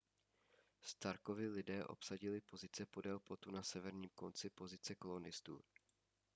starkovi lidé obsadili pozice podél plotu na severním konci pozice kolonistů